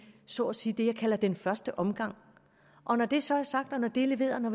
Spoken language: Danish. så at sige det jeg kalder den første omgang og når det så er sagt og når det er leveret